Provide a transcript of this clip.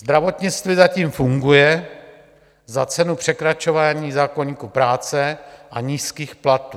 Zdravotnictví zatím funguje za cenu překračování zákoníku práce a nízkých platů.